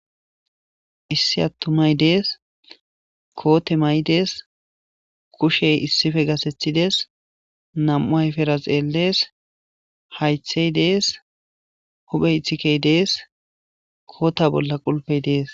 issi attumay dees koote may7dees kushey issife gasethides nam7u ayfera xeellees haythey dees huphey ithikey dees koota bolla qulpey dees